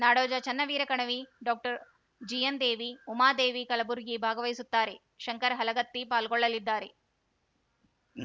ನಾಡೋಜ Channaveera Kanavi doctor G N Devi Umadevi Kalburgi ಭಾಗವಹಿಸುತ್ತಾರೆ ಶಂಕರ ಹಲಗತ್ತಿ ಪಾಲ್ಗೊಳ್ಳಲಿದ್ದಾರೆ